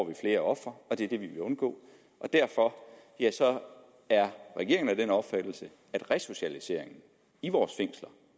vi flere ofre og det er det vi vil undgå derfor er regeringen af den opfattelse at resocialiseringen i vores fængsler